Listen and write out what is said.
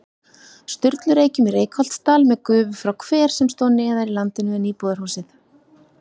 Sturlureykjum í Reykholtsdal með gufu frá hver sem stóð neðar í landinu en íbúðarhúsið.